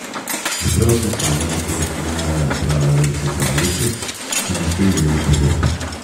Čeprav sem sama v otroštvu najraje brala ruske pravljice, ki niso imele podob.